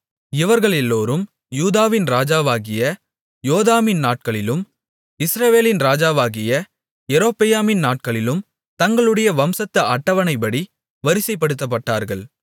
இவர்களெல்லோரும் யூதாவின் ராஜாவாகிய யோதாமின் நாட்களிலும் இஸ்ரவேலின் ராஜாவாகிய யெரொபெயாமின் நாட்களிலும் தங்களுடைய வம்சத்து அட்டவணைப்படி வரிசைப்படுத்தப்பட்டார்கள்